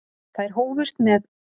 Þær hófust með